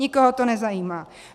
Nikoho to nezajímá.